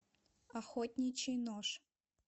охотничий нож